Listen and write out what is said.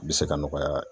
Bɛ se ka nɔgɔya